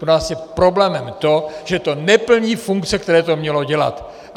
Pro nás je problémem to, že to neplní funkce, které to mělo dělat.